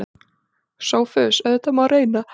SOPHUS: Auðvitað má reyna.